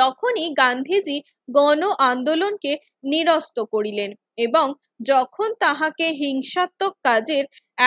তখনই গান্ধীজি গণ-আন্দোলনকে নিরস্ত্র করিলেন এবং যখন তাহাকে হিংসাত্মক কাজে